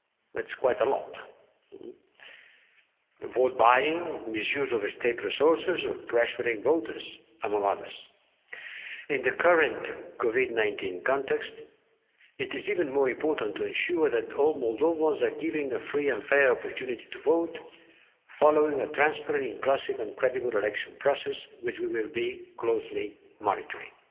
That's quite a lot vote buying, misuse of state resources, pressuring voters, among others. In the current COVID 19 context, it is even more important to ensure that all Moldovans are given a free and fair opportunity to vote, following a transparent, inclusive and credible election process, which we will be closely monitoring.